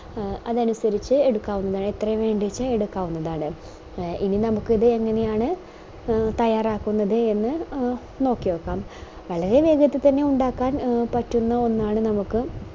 A അതനുസരിച് എടുക്കാവുന്ന എത്രയാ വേണ്ടെച്ച എടുക്കാവുന്നതാണ് എ എനി നമുക്കിത് എങ്ങനെയാണ് തയ്യാറാക്കുന്നത് എന്ന് നോക്കിയൊക്കം വളരെ വേഗത്തിൽ തന്നെ ഉണ്ടാക്കാൻ പറ്റുന്ന ഒന്നാണ് നമുക്ക്